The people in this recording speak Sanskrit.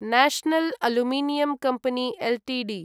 national aluminium company Ltd